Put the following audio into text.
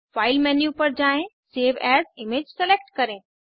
file menu पर जाएँ save as image select करें